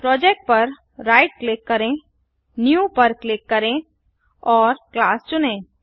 project पर right click करें new पर क्लिक करें और क्लास चुनें